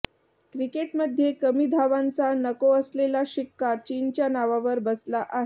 क्रिकेटमध्ये कमी धावांचा नको असलेला शिक्का चीनच्या नावावर बसला आहे